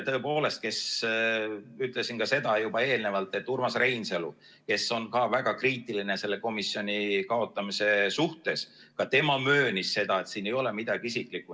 Tõepoolest, ütlesin ka seda juba eelnevalt, et Urmas Reinsalu, kes on ka väga kriitiline selle komisjoni kaotamise suhtes, ka tema möönis seda, et siin ei ole midagi isiklikku.